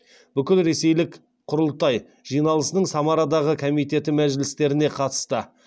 бүкілресейлік құрылтай жиналысының самарадағы комитеті мәжілістеріне қатысты